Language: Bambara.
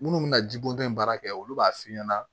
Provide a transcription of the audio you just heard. Minnu bɛna jibo in baara kɛ olu b'a f'i ɲɛna